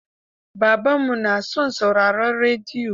Babanmu na son sauraron rediyo.